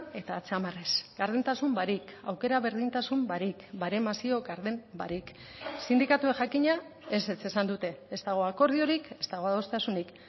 eta atzamarrez gardentasun barik aukera berdintasun barik baremazio garden barik sindikatuek jakina ezetz esan dute ez dago akordiorik ez dago adostasunik